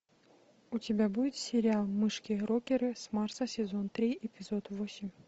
у тебя будет сериал мышки рокеры с марса сезон три эпизод восемь